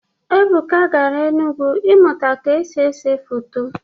Ebuka gara Enugwu ịmụta ka esi ese foto.